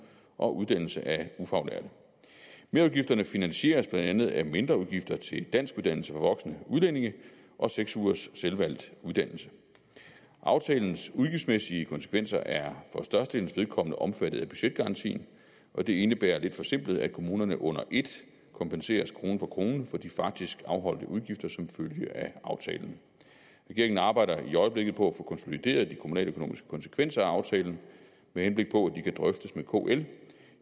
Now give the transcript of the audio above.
og uddannelse af ufaglærte merudgifterne finansieres blandt andet af mindre udgifter til danskuddannelse for voksne udlændinge og seks ugers selvvalgt uddannelse aftalens udgiftsmæssige konsekvenser er for størstedelens vedkommende omfattet af budgetgarantien og det indebærer lidt forsimplet at kommunerne under ét kompenseres krone for krone for de faktisk afholdte udgifter som følge af aftalen regeringen arbejder i øjeblikket på at få konsolideret de kommunaløkonomiske konsekvenser af aftalen med henblik på at de kan drøftes med kl